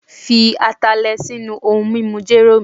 fi Atalẹ sinu ohun mimu jero mi